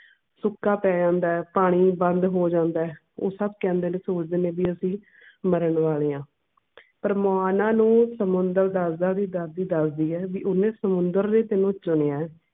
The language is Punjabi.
ਸੁੱਕਾ ਪੈ ਜਾਂਦਾ ਐ ਪਾਣੀ ਬੰਦ ਹੋ ਜਾਂਦਾ ਐ ਓਥੇ ਸਬ ਕਹਿੰਦੇ ਨੇ ਸੋਚਦੇ ਨੇ ਵੀ ਅਸੀਂ ਮਰਨ ਵਾਲੇ ਆ ਪਰ ਮਾਨਾ ਨੂੰ ਸਮੁੰਦਰ ਦਸਦਾ ਆ ਵੀ ਦਾਦੀ ਦਸਦੀ ਆ ਵੀ ਓਹਨੇ ਸਮੁੰਦਰ ਨੇ ਤੈਨੂੰ ਚੁਣਿਆ